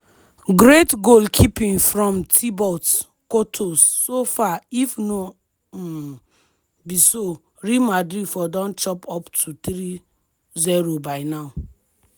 great goalkeeping from thibot courtos so far if no um be so real madrid for don chop up to three-zero by now.